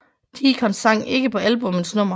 Deacon sang ikke på albummets nummer